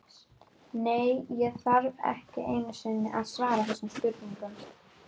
Nei, ég þarf ekki einu sinni að svara þessum spurningum.